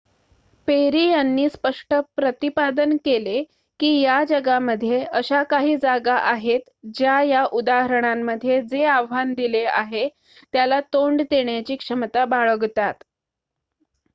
"Peri यांनी स्पष्ट प्रतिपादन केले की,""या जगामध्ये अशा काही जागा आहेत ज्या या उदाहरणांमध्ये जे आव्हान दिले आहे त्याला तोंड देण्याची क्षमता बाळगतात.